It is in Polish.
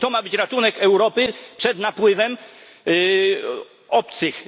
I to ma być ratunek Europy przed napływem obcych?